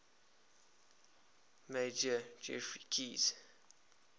major geoffrey keyes